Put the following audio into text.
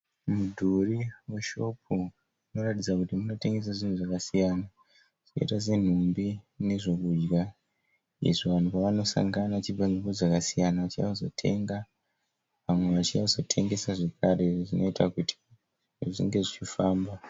Mudhuri weshopu unotaridza kuti munotengeswa zvinhu zvakasiyana zvakaita senhumbi nezvekudya izvo vanhu vanosangana vachibva nzvimbo dzakasiyana vachiuya kuzotenga vamwe vachiuya kuzotengesa zvakare zvinoita kuti zvinhu zvinge zvichifamba.